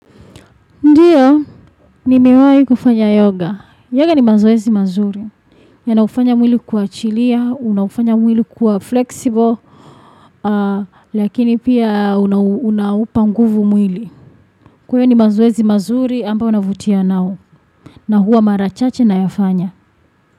Ndiyo, ni miwai kufanya yoga. Yoga ni mazoezi mazuri. Ya na ufanya mwili kwa chilia, una ufanya mwili kwa flexible, lakini pia unaupa nguvu mwili. Kuyo ni mazoezi mazuri, amba unavutia nao. Na huwa mara chache nayafanya.